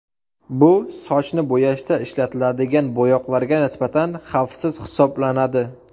Bu sochni bo‘yashda ishlatiladigan bo‘yoqlarga nisbatan xavfsiz hisoblanadi.